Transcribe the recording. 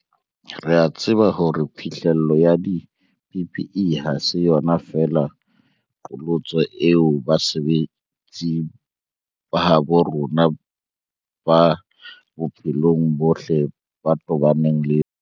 Re a tseba hore phihlello ya di-PPE ha se yona feela qholotso eo basebetsi ba habo rona ba bophelo bo botle ba tobaneng le yona